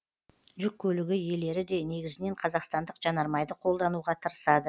жүк көлігі иелері де негізінен қазақстандық жанармайды қолдануға тырысады